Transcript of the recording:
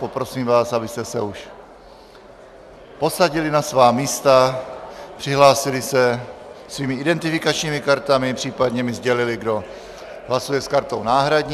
Poprosím vás, abyste se už posadili na svá místa, přihlásili se svými identifikačními kartami, případně mi sdělili, kdo hlasuje s kartou náhradní.